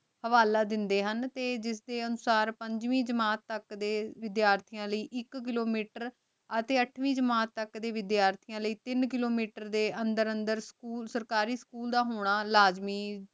ਹਵਾਲਾ ਦੇਂਦੇ ਹਨ ਤੇ ਜਿਸਦੇ ਅਨੁਸਾਰ ਪੰਜਵੀਂ ਜਮਾਤ ਤਕ ਦੇ ਵਿਧ੍ਯਰ੍ਥਿਯਾਂ ਲੈ ਏਇਕ ਕਿਲੋਮੀਟਰ ਅਤੀ ਅਠਵੀੰ ਜਮਾਤ ਤਕ ਆਯ ਵਿਧ੍ਯਰ੍ਥਿਯਾਂ ਲੈ ਤੀਨ ਕਿਲੋਮੀਟਰ ਅੰਦਰ ਅੰਦਰ ਸਕੂਲ ਸਰਕਾਰੀ ਸਕੂਲ ਦਾ ਹੋਣਾ ਲਾਜ਼ਮੀ ਆਯ